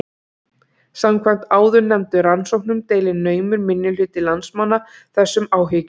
Samkvæmt áðurnefndum rannsóknum deilir naumur minnihluti landsmanna þessum áhyggjum.